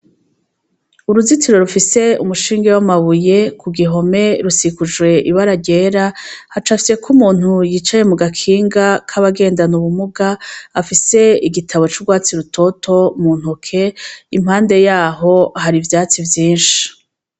Uruzitiro rufise umushinge w'amabuye ku gihome rusikujwe ibara ryera hacafyeko umuntu yicaye mu gakinga k'abagendana ubumuga afise igitabo c'urwatsi rutoto mu ntoke impande yaho hari ivyatsi vyinshi.